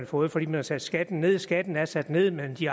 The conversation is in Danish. fået fordi man har sat skatten nederst skatten er sat ned men de